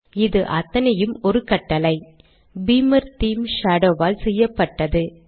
இது அத்தனையும் ஒரு கட்டளை - பீமர் தேமே ஷேடோ ஆல் செய்யப்பட்டது